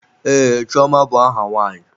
Ee, Chioma bụ aha nwaanyị.